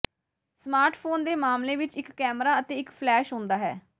smartphone ਦੇ ਮਾਮਲੇ ਵਿਚ ਇਕ ਕੈਮਰਾ ਅਤੇ ਇੱਕ ਫਲੈਸ਼ ਹੁੰਦਾ ਹੈ